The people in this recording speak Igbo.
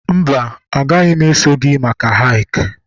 mba, agaghị m eso gị maka hick